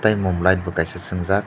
mon light bo kaisa songjak.